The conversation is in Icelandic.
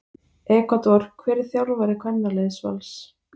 Ekvador Hver er þjálfari kvennaliðs Vals?